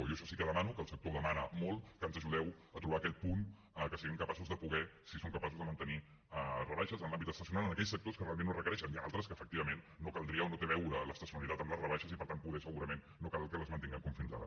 jo això sí que ho demano que el sector ho demana molt que ens ajudeu a trobar aquest punt en què siguem capaços de poder si som capaços de mantenir rebaixes en l’àmbit estacional en aquells sectors que realment ho requereixen hi han altres que efectivament no caldria o no té a veure l’estacionalitat amb les rebaixes i per tant poder segurament no cal que les mantinguem com fins ara